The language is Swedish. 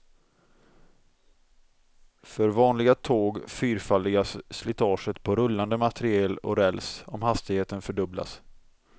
För vanliga tåg fyrfaldigas slitaget på rullande materiel och räls, om hastigheten fördubblas.